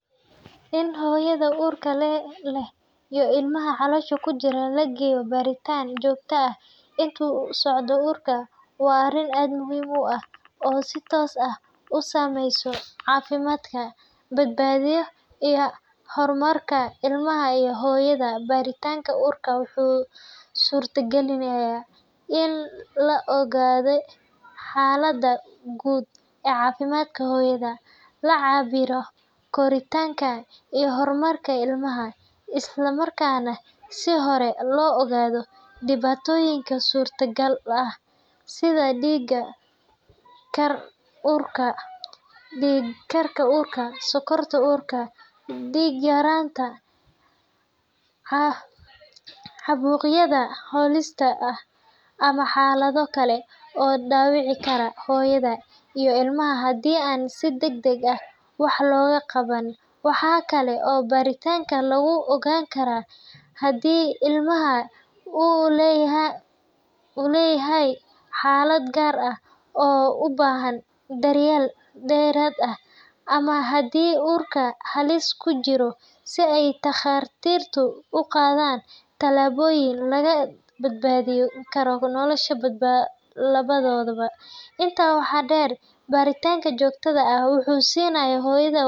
In hooyada uurka leh iyo ilmaha caloosha ku jira la geeyo baaritaan joogto ah inta uu socdo uurku waa arrin aad muhiim u ah oo si toos ah u saameysa caafimaadka, badbaadada, iyo horumarka ilmaha iyo hooyada. Baaritaanka uurka wuxuu suurtagelinayaa in la ogaado xaaladda guud ee caafimaadka hooyada, la cabbiro koritaanka iyo horumarka ilmaha, isla markaana si hore loo ogaado dhibaatooyin suurtagal ah sida dhiig karka uurka, sonkorta uurka, dhiig-yaraan, caabuqyada halista ah, ama xaalado kale oo dhaawici kara hooyada iyo ilmaha haddii aan si degdeg ah wax looga qaban. Waxaa kale oo baaritaanka lagu ogaan karaa haddii ilmaha uu leeyahay xaalado gaar ah oo u baahan daryeel dheeraad ah ama haddii uurku halis ku jiro, si ay takhaatiirtu u qaadaan tallaabooyin lagu badbaadin karo nolosha labadooda. Intaa waxaa dheer, baaritaanka joogtada ah wuxuu siinayaa hooyada.